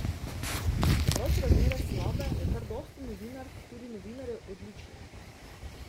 Čeprav so razmere slabe, je kar dosti novinark, tudi novinarjev, odličnih.